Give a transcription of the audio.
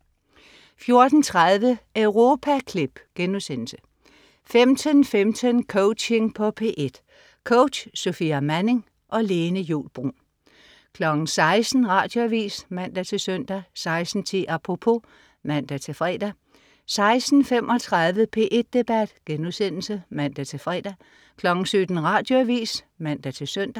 14.30 Europaklip* 15.15 Coaching på P1. Coach: Sofia Manning. Lene Juul Bruun 16.00 Radioavis (man-søn) 16.10 Apropos (man-fre) 16.35 P1 Debat* (man-fre) 17.00 Radioavis (man-søn)